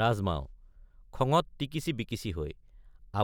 ৰাজমাও— খঙত টিকিছিবিকিছি হৈ